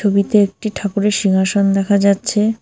ছবিতে একটি ঠাকুরের সিংহাসন দেখা যাচ্ছে।